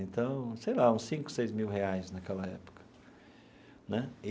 Então, sei lá, uns cinco, seis mil reais naquela época né.